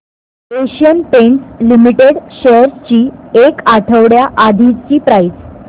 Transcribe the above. Asian Paints limited shares ची एक आठवड्या आधीची प्राइस